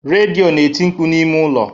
Redio na-eti mkpu n'ime ụlọ